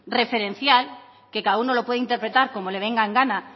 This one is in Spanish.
referencial que cada uno lo puede interpretar como le venga en gana